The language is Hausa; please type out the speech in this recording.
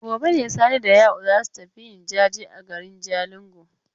Gobe ne Sani da Ya'u za su tafi yin jaje a garin Jalingo.